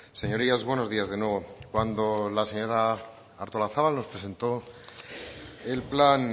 señorías buenos días de nuevo cuando la señora artolazabal nos presentó el plan